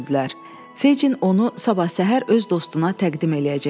Fecin onu sabah səhər öz dostuna təqdim eləyəcəkdi.